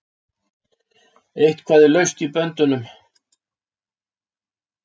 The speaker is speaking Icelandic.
Eitthvað er laust í böndunum